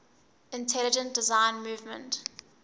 intelligent design movement